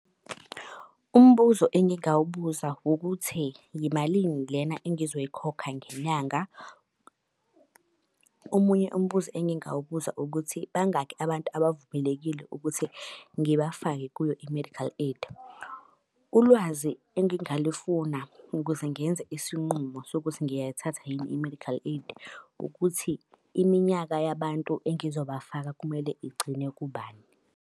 Umbuzo engingawubuza ukuthi yimalini lena engizoyikhokha ngenyanga. Omunye umbuzo engingawubuza ukuthi bangaki abantu abavumelekile ukuthi ngibafake kuyo i-medical aid. Ulwazi engingalifuna ukuze ngenze isinqumo sokuthi ngiyayithatha yini i-medical aid ukuthi, iminyaka yabantu engizobafaka kumele igcine kubani.